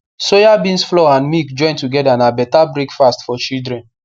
soyabeans flour and milk join together na beta breakfast for children